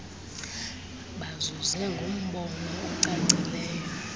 bazuze ngumbono ocacileyo